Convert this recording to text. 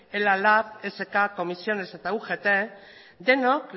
ela lab esk ccoo eta ugt denok